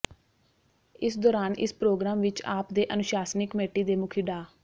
ਇਸ ਦੌਰਾਨ ਇਸ ਪ੍ਰੋਗਰਾਮ ਵਿਚ ਆਪ ਦੇ ਅਨੁਸ਼ਾਸਨੀ ਕਮੇਟੀ ਦੇ ਮੁਖੀ ਡਾ